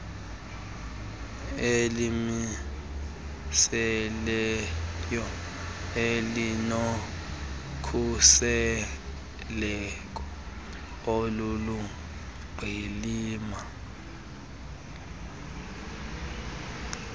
elimiselweyo elinokhuseleko oluluqilima